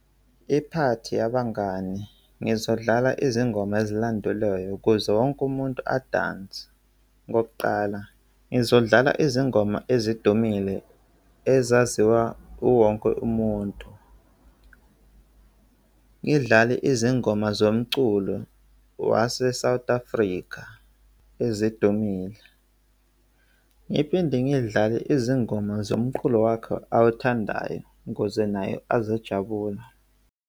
Iphathi yabangani. Ngizodlala izingoma ezilandelwayo ukuze wonke umuntu adanse. Kokuqala, ngizodlala izingoma ezidumile ezaziwa uwonke umuntu, ngidlale izingoma zomculo wase-South Africa ezidumile ngiphinde ngidlale izingoma zomqulo wakhe awuthandayo ukuze nayo azojabula.